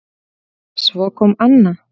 Svo kom Anna